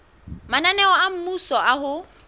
mananeo a mmuso a ho